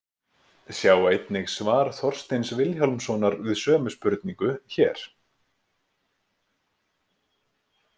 Sjá einnig svar Þorsteins Vilhjálmssonar við sömu spurningu, hér.